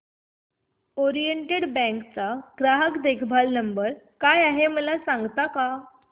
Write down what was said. oriental bank चा ग्राहक देखभाल नंबर काय आहे मला सांगता का